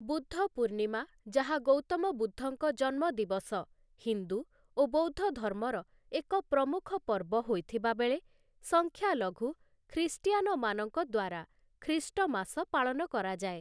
ବୁଦ୍ଧ ପୂର୍ଣ୍ଣିମା, ଯାହା ଗୌତମ ବୁଦ୍ଧଙ୍କ ଜନ୍ମ ଦିବସ, ହିନ୍ଦୁ ଓ ବୌଦ୍ଧ ଧର୍ମର ଏକ ପ୍ରମୁଖ ପର୍ବ ହୋଇଥିବାବେଳେ, ସଂଖ୍ୟାଲଘୁ ଖ୍ରୀଷ୍ଟିଆନମାନଙ୍କ ଦ୍ଵାରା ଖ୍ରୀଷ୍ଟମାସ ପାଳନ କରାଯାଏ ।